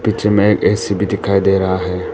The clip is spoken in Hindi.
दृश्य में एक ए_सी भी दिखाई दे रहा है।